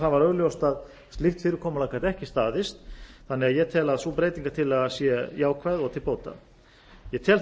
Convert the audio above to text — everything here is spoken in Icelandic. var augljóst að slíkt fyrirkomulag gat ekki staðist þannig að ég tel að sú breytingartillaga sé jákvæð og til bóta ég tel